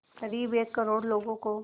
क़रीब एक करोड़ लोगों को